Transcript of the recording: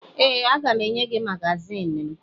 Ee, aga m enye gị magazin m